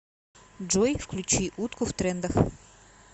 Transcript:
джой включи утку в трендах